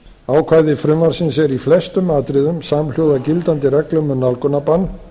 ákvæði frumvarpsins eru í flestum atriðum samhljóða gildandi reglum um nálgunarbann